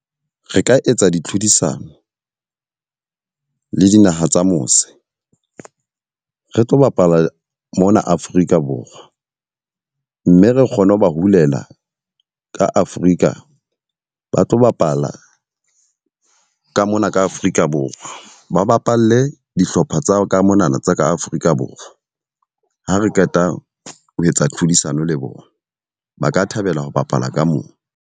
Re ka etsa ditlhodisano le dinaha tsa mose, re tlo bapala mona Afrika Borwa. Mme re kgone ho ba hulela ka Afrika, ba tlo bapala ka mona ka Afrika Borwa. Ba bapalle dihlopha tsa ka monana tsa ka Afrika Borwa. Ha re qeta ho etsa tlhodisano le bona, ba ka thabela ho bapala ka mona.